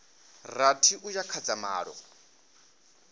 rathi uya kha dza malo